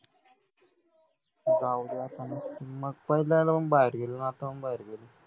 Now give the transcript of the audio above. जाऊदे आता मग मग पहिला बाहेर गेली आता पण बाहेर गेली